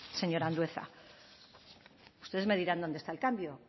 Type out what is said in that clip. señor andueza ustedes me dirán dónde está el cambio